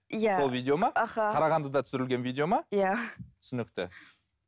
иә сол видео ма аха қарағандыда түсірілген видео ма иә түсінікті